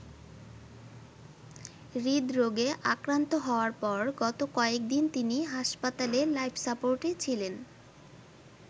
হৃদরোগে আক্রান্ত হওয়ার পর গত কয়েকদিন তিনি হাসপাতালে লাইফ সাপোর্টে ছিলেন।